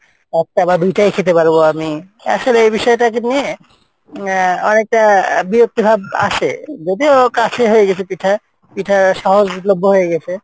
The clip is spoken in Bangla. একটা বা দুইটাই খেতে পারবো আমি আসলে এই বিষয় টাকে নিয়ে আহ অনেকটা বিরক্তি ভাব আসে, যদিও কাছে হয়ে গেছে পিঠা, পিঠা সহজলভ্য হয়ে গেসে